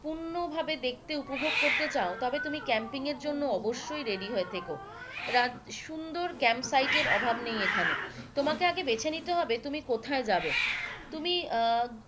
পূর্ণভাবে দেখতে উপভোগ করতে চাও তবে তুমি ক্যাম্পিং এর জন্য অবশ্যই ready হয়ে থেকো সুন্দর ক্যাম্প সাইড এর অভাব নেই এখানে তোমাকে আগে বেছে নিতে হবে তুমি কোথায় যাবে তুমি আহ